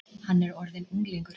Hann er orðinn unglingur.